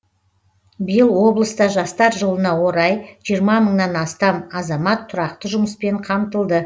биыл облыста жастар жылына орай жиырма мыңнан астам азамат тұрақты жұмыспен қамтылды